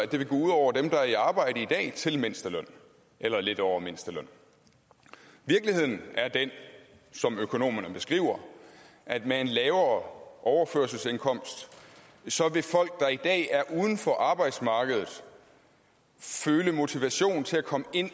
det vil gå ud over dem der er i arbejde i dag til mindsteløn eller lidt over mindstelønnen virkeligheden er den som økonomerne beskriver at med en lavere overførselsindkomst vil folk der i dag er uden for arbejdsmarkedet føle motivation til at komme ind